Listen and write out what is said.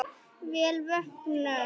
Vel vöknuð!